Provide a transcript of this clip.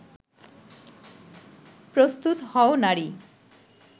প্রস্তুত হও নারী